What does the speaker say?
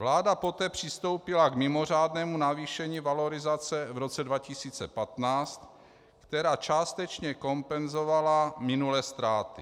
Vláda poté přistoupila k mimořádnému navýšení valorizace v roce 2015, která částečně kompenzovala minulé ztráty.